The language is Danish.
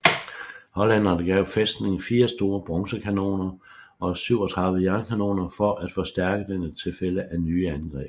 Hollænderne gav fæstningen fire store bronzekanoner og 37 jernkanoner for at forstærke den i tilfælde af nye angreb